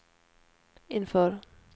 inför